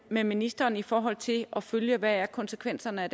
med ministeren i forhold til at følge hvad konsekvenserne er